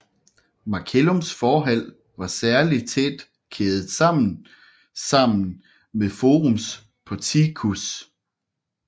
Macellums forhal var særlig tæt kædet sammen sammen med Forums porticus